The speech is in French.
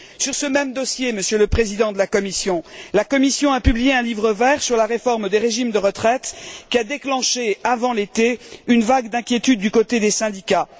Sur ce même dossier, Monsieur le Président Barroso, la Commission a publié un livre vert sur la réforme des régimes de retraite qui a déclenché avant l'été une vague d'inquiétude du côté des syndicats.